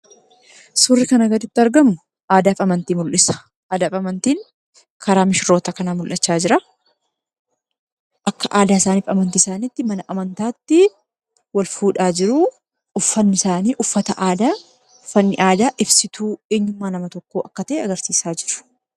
Suurri kana gaditti argamu aadaa fi amantii mul'isa. Aadaa fi amantiin karaa misirroota kanaa mul'achaa jira. Akka aadaa fi amantii isaaniitti mana amantaatti wal fuudhaa jiru. Uffanni isaanii uffata aadaa uffanni aadaa ibsituu eenyummaa nama tokkoo akka ta'e agarsiisa jechuudha.